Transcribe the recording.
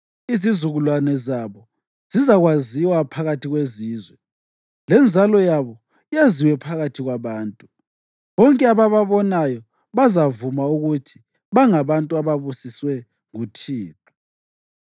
Izizukulwane zabo zizakwaziwa phakathi kwezizwe, lenzalo yabo yaziwe phakathi kwabantu. Bonke abababonayo bazavuma ukuthi bangabantu ababusiswe nguThixo.”